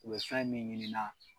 U be fɛn min ɲiniina